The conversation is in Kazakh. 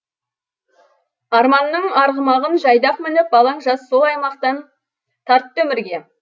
арманның арғымағын жайдақ мініп балаң жас сол аймақтан тартты өмірге